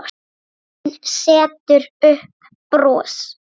Hún setur upp bros.